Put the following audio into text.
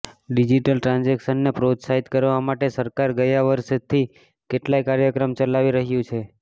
digital ટ્રાન્ઝેકશનને પ્રોત્સાહિત કરવા માટે સરકાર ગયા વર્ષથી કેટલાંય કાર્યક્રમ ચલાવી રહ્યું છે